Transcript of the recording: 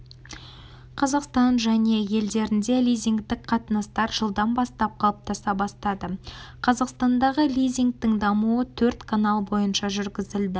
қазақстан және елдерінде лизингтік қатынастар жылдан бастап қалыптаса бастады қазақстандағы лизингтің дамуы төрт канал бойынша жүргізілді